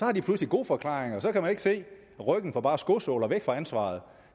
har de pludselig gode forklaringer og da kan man ikke se ryggen for bare skosåler væk fra ansvaret